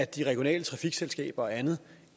de regionale trafikselskaber og andet